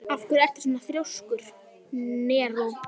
Af hverju ertu svona þrjóskur, Neró?